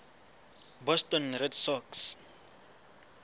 boston red sox